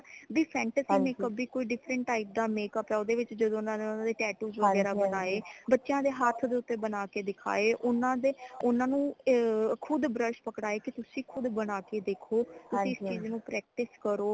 B fantasy makeup ਭੀ ਕੋਈ different type ਦਾ makeup ਹੈ ਓਦੇ ਵਿਚ ਜਦੋ ਓਨਾ ਨੇ tattoos ਵਗੈਰਾ ਬਣਾਏ ਬੱਚਿਆਂ ਦੇ ਹੱਥ ਦੇ ਉਤੇ ਬਣਾ ਕੇ ਦਿਖਾਏ ਓਨਾ ਦੇ ਓਨਾ ਨੂ ਅ ਖੁਦ brush ਪਕੜਾਏ ਕਿ ਤੁਸੀ ਖੁਦ ਬਣਾ ਕੇ ਦੇਖੋ ਤੁਸੀ ਇਸ ਚੀਜ਼ ਨੂ practice ਕਰੋ